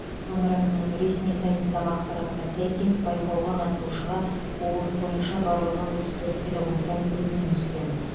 өңір әкімінің ресми сайтындағы ақпаратқа сәйкес байқауға қатысушыға облыс бойынша барлығы отыз төрт педагогтан өтінім түскен